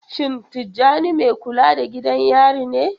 Shin Tijjani mai kula da gidan yari ne?